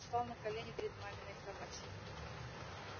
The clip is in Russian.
встал на колени перед маминой кроватью